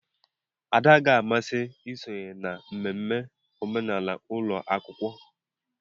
Ada agaghị amasị isonye na mmemme omenala ụlọ akwụkwọ.